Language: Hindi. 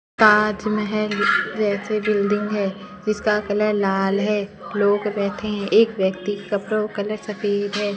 ताजमहल जैसे बिल्डिंग है जिसका कलर लाल है लोग बैठे हैं एक व्यक्ति कपड़ों कलर सफेद है।